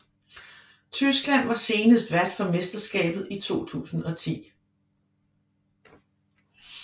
Tyskland var senest vært for mesterskabet i 2010